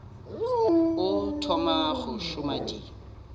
o thoma go šoma di